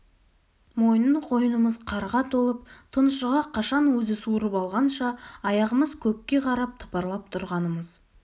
мойны-қойнымыз қарға толып тұншыға қашан өзі суырып алғанша аяғымыз көкке қарап тыпырлап тұрғанымыз